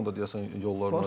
Onunla da deyəsən yolları.